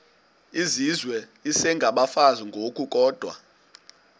izizwe isengabafazi ngokukodwa